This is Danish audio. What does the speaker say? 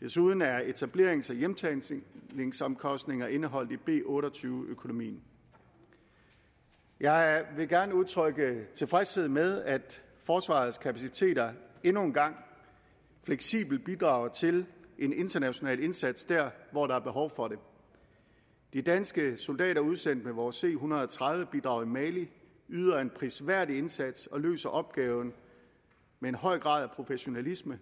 desuden er etablerings og hjemtagningsomkostninger indeholdt i b otte og tyve økonomien jeg vil gerne udtrykke tilfredshed med at forsvarets kapaciteter endnu en gang fleksibelt bidrager til en international indsats der hvor der er behov for det de danske soldater udsendt med vores c en hundrede og tredive bidrag i mali yder en prisværdig indsats og løser opgaven med en høj grad af professionalisme